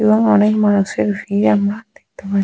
এবং অনেক মানুষের ভিড় আমরা দেখতে পাচ্ছি।